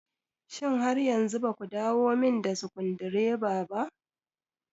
Shin har yanzu baku dawomin da sukundireba ba?